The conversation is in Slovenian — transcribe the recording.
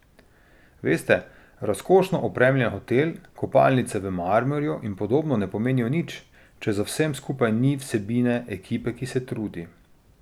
Veste, razkošno opremljen hotel, kopalnice v marmorju in podobno ne pomenijo nič, če za vsem skupaj ni vsebine, ekipe, ki se trudi.